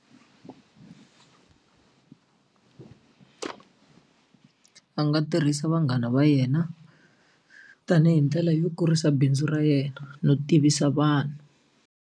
Va nga tirhisa vanghana va yena tanihi ndlela yo kurisa bindzu ra yena no tivisa vanhu.